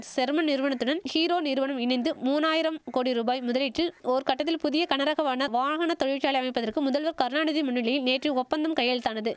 sermon நிறுவனத்துடன் Hero நிறுவனம் இணைந்து மூனாயிரம் கோடி ரூபாய் முதலீட்டில் ஓர்கட்டத்தில் புதிய கனரக வான வாகன தொழிற்சாலை அமைப்பதற்கு முதல்வர் கருணாநிதி முன்னிலையில் நேற்று ஒப்பந்தம் கையெழுத்தானது